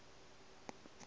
a re o a se